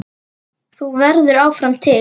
Þú verður áfram til.